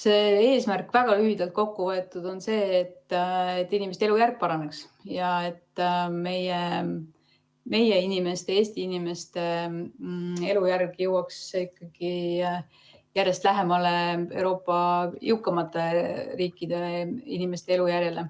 See eesmärk väga lühidalt kokku võetult on see, et inimeste elujärg paraneks ja et meie inimeste, Eesti inimeste elujärg jõuaks ikkagi järjest lähemale Euroopa jõukamate riikide inimeste elujärjele.